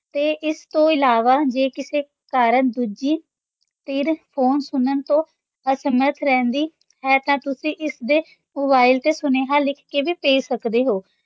ਤੇ ਇਸ ਤੋਂ ਇਲਾਵਾ ਜੇ ਕਿਸੇ ਕਾਰਨ ਦੂਜੀ ਧਿਰ phone ਸੁਣਨ ਤੋਂ ਅਸਮਰਥ ਰਹਿੰਦੀ ਹੈ ਤਾਂ ਤੁਸੀਂ ਇਸਦੇ mobile ‘ਤੇ ਸੁਨੇਹਾ ਲਿਖ ਕੇ ਵੀ ਭੇਜ ਸਕਦੇ ਹੋ।